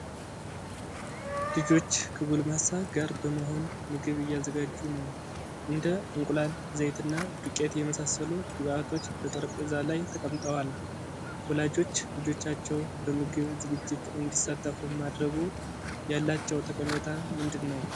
ልጆች ከጎልማሳ ጋር በመሆን ምግብ እያዘጋጁ ነው። እንደ እንቁላል፣ ዘይትና ዱቄት የመሳሰሉ ግብአቶች በጠረጴዛ ላይ ተቀምጠዋል። ወላጆች ልጆቻቸው በምግብ ዝግጅት እንዲሳተፉ ማድረጉ ያላቸው ጠቀሜታ ምንድን ነው?